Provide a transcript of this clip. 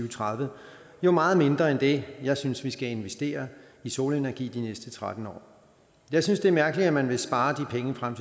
og tredive jo meget mindre end det jeg synes vi skal investere i solenergi de næste tretten år jeg synes det er mærkeligt at man vil spare de penge frem